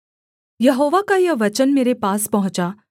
यहोवा का यह वचन मेरे पास पहुँचा